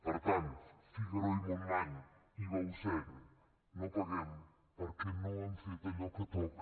per tant figaró i montmany i bausen no els paguem perquè no han fet allò que toca